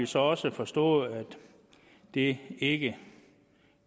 så også forstået at det ikke